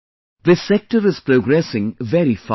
This sector is progressing very fast